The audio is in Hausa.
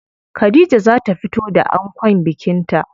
Khadija za ta fito da ankon bikin ta.